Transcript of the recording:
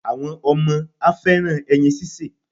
Àwọn ọmọ á fẹ́ràn ẹyin síse.